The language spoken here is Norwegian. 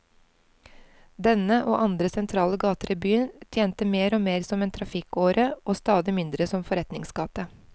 Denne, og andre sentrale gater i byen, tjente mer og mer som en trafikkåre og stadig mindre som forretningsgate.